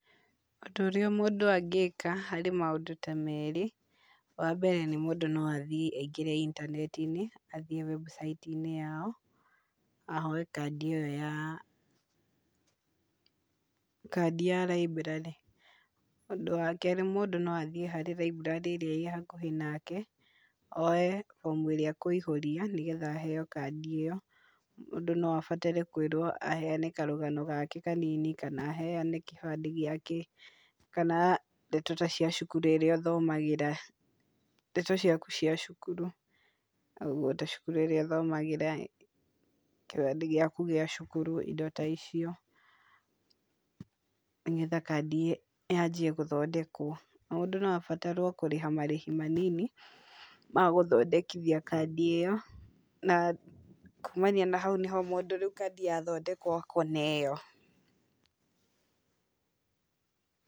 Ũndũ ũrĩa mũndũ angĩka harĩ maũndũ ta merĩ. Wa mbere, mũndũ no athiĩ aingĩre intanenti-inĩ, athiĩ website -inĩ yao ahoe kandi ĩyo ya, kandi ya raiburarĩ. Ũndũ wa kerĩ, mũndũ noathiĩ raiburarĩ ĩrĩa ĩ hakuhĩ nake oye bomu ĩrĩa akũihũria, nĩgetha aheo kandi ĩyo. Mũndũ no abatare kwĩrwo aheana karũgano gake kanini, kana aheane gĩbandĩ gĩake, kana ndeto ta cia cukuru ĩrĩa athomagĩra, ndeto cia cukuru ta cukuru ĩrĩa athomagĩra, kĩrathi gĩaku gĩa cukuru indo ta icio, nĩgetha kandi yanjie gũthondekwo. Mũndũ no abatarwo kũrĩha marĩhi manini magũthondekithia kandi ĩyo, na kumania na hau nĩho mũndũ kandi yathondekwo ekũneyo.